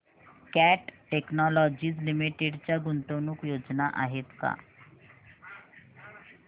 cat Technologies Limited च्या गुंतवणूक योजना आहेत का